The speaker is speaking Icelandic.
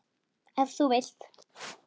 Ef þú vilt.